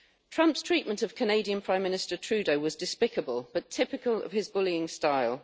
Trump's treatment of Canadian Prime Minister Trudeau was despicable but typical of his bullying style.